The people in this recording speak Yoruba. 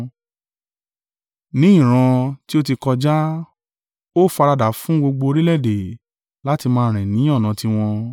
Ní ìran tí ó ti kọjá, ó faradà á fún gbogbo orílẹ̀-èdè, láti máa rìn ni ọ̀nà tiwọn.